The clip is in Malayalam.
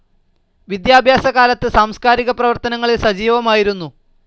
വിദ്യാഭ്യാസ കാലത്ത് സാംസ്കാരിക പ്രവർത്തനങ്ങളിൽ സജീവമായിരുന്നു.